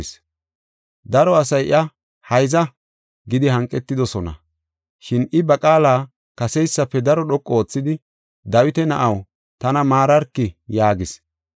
Daro asay iya, “Hayza!” gidi hanqetidosona. Shin, I ba qaala kaseysafe daro dhoqu oothidi, “Dawita na7aw, tana maararki!” yaagis.